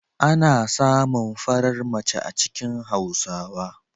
Ana samun farar mace a cikin Hausawa.